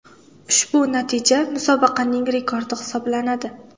Ushbu natija musobaqaning rekordi hisoblanadi.